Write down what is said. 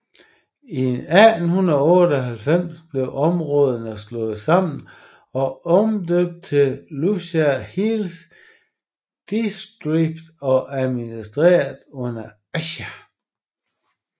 I 1898 blev områderne slået sammen og omdøbt til Lushai Hills Districted og administreret under Assam